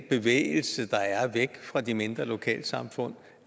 bevægelse der er væk fra de mindre lokalsamfund